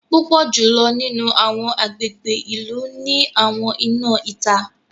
Púpọ jùlọ nínú awọn agbègbè ìlú ni àwọn iná ìta.